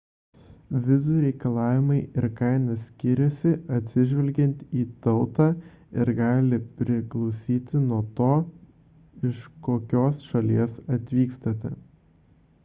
vizų reikalavimai ir kaina skiriasi atsižvelgiant į tautą ir gali priklausyti nuo to iš kokios šalies atvykstate